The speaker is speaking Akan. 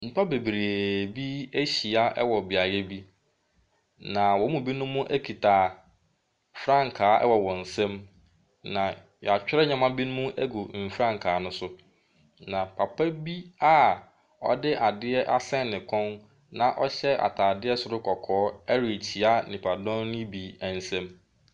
Nnipa bebree bi ahyia wɔ beaeɛ bi. Na wɔn mu binom kita frankaa wɔ wɔn nsamu. Na yɛatwerɛ nneɛma binom agu mfrankaa ne so. Na papa bi a ɔde adeɛ asɛn ne kɔn na ɔhyɛ ataadeɛ soro kɔkɔɔ ɛrekyia nnipadɔm ne bi nsam.